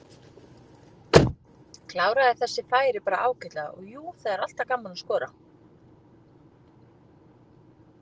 Kláraði þessi færi bara ágætlega og jú, það er alltaf gaman að skora.